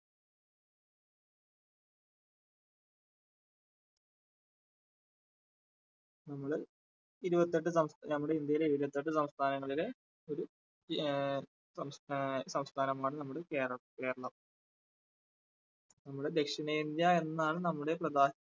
നമ്മള് ഇരുപത്തെട്ട് സം നമ്മുടെ ഇന്ത്യയിലെ ഇരുപത്തെട്ട് സംസ്ഥാനങ്ങളിലെ ഒരു ആ സംസ്ഥാ~സംസ്ഥാനമാണ് നമ്മുടെ കേരള~കേരളം നമ്മുടെ ദക്ഷിണേന്ത്യ എന്നാണ് നമ്മുടെ പ്രധാന